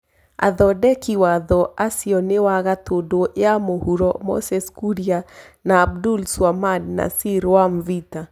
Athondeki watho acio nĩ wa Gatũndũ ya mũhuro Moses Kuria, na Abdulswamad Nassir wa Mvita.